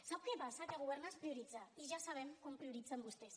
sap què passa que governar és prioritzar i ja sabem com prioritzen vostès